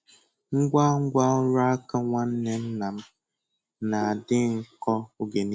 Ngwá Ngwá ọrụ aka nwanne nna m na-adị nkọ oge niile.